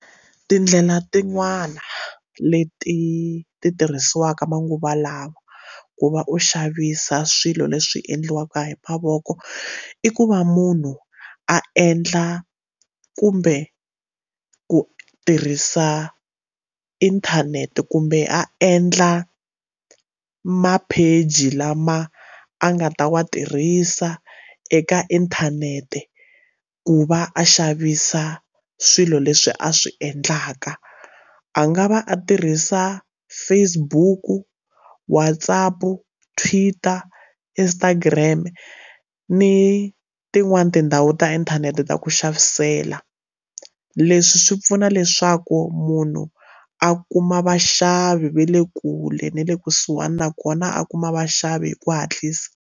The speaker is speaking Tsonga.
Tindlela tin'wani leti ti tirhisiwaka manguva lawa ku va u xavisa swilo leswi endliwaka hi mavoko i ku va munhu a endla kumbe ku tirhisa inthanete kumbe a endla mapheji lama a nga ta wa tirhisa eka inthanete ku va a xavisa swilo leswi a swi endlaka a nga va a tirhisa Facebook, Whatsapp, Twitter, Instagram ni tin'wana tindhawu ta inthanete ta ku xavisela leswi swi pfuna leswaku munhu a kuma vaxavi va le kule na le kusuhani nakona a kuma vaxavi hi ku hatlisa.